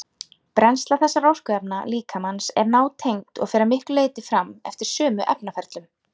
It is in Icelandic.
Brennsla þessara orkuefna líkamans er nátengd og fer að miklu leyti fram eftir sömu efnaferlum.